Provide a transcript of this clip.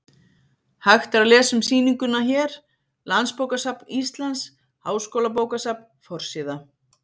Hægt er að lesa um sýninguna hér: Landsbókasafn Íslands- Háskólabókasafn: Forsíða.